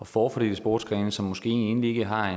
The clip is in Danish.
forfordele sportsgrene som måske egentlig ikke har